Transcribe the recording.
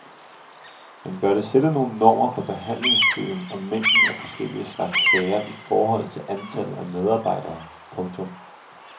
Man bør sætte nogle normer for behandlingstiden og mængden af forskellige slags sager i forhold til antallet af medarbejdere. punktum